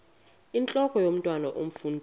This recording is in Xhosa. intlok omntwan omfundisi